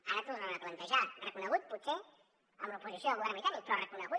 ara el tornen a plantejar reconegut potser amb l’oposició del govern britànic però reconegut